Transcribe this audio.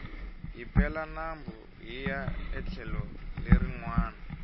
hi pela nambu hiya etlhelo leri nwana